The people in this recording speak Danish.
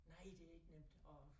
Nej det ikke nemt og